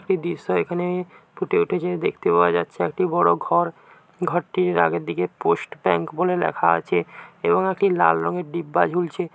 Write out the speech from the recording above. একটি দৃশ্য এখানে ফুটে উঠেছে। দেখতে পাওয়া যাচ্ছে একটি বড় ঘর ঘরটির আগের দিকে পোস্ট ব্যাংক বলে লেখা আছে এবং এটি লাল রঙের ডিব্বা ঝুলছে।